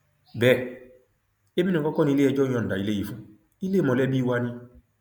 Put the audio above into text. bẹẹ èmi nìkan kọ ni iléẹjọ yọǹda ilé yìí fún ilé mọlẹbí wa ni